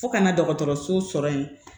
Fo kana dɔgɔtɔrɔso sɔrɔ yen